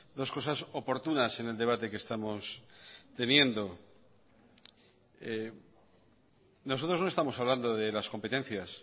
dos cosas oportunas en el debate que estamos teniendo nosotros no estamos hablando de las competencias